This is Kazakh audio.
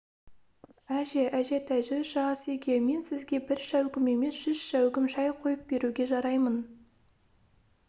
әже әжетай жүрші ас үйге мен сізге бір шәугім емес жүз шәугім шай қойып беруге жараймын